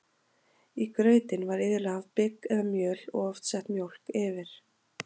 í grautinn var iðulega haft bygg eða mjöl og oft sett mjólk yfir